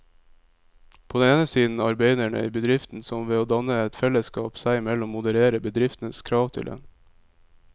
På den ene side arbeiderne i bedriften, som ved å danne et fellesskap seg imellom modererer bedriftens krav til dem.